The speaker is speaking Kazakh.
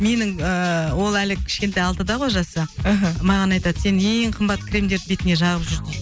менің ыыы ол әлі кішкентай алтыда ғой жасы мхм маған айтады сен ең қымбат кремдерді бетіңе жағып жүр дейді